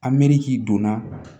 A me k'i donna